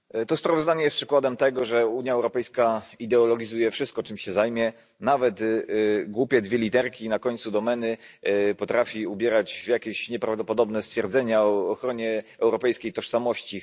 Pani Przewodnicząca! To sprawozdanie jest przykładem tego, że Unia Europejska ideologizuje wszystko, czym się zajmie. Nawet głupie dwie literki na końcu domeny potrafi ubrać w jakieś nieprawdopodobne stwierdzenia o ochronie europejskiej tożsamości.